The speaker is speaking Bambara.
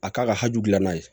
A k'a ka hakilina ye